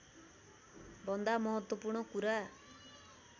भन्दा महत्त्वपूर्ण कुरा